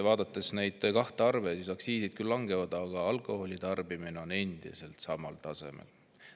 Vaadates neid kahte arvu, aktsiisid küll langevad, aga alkoholitarbimine on endiselt samal tasemel.